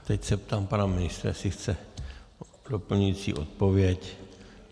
Teď se ptám pana ministra, jestli chce doplňující odpověď.